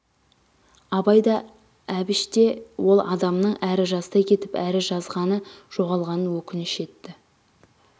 абай да әбіш те ол адамның әрі жастай кетіп әрі жазғаны жоғалғанын өкініш етті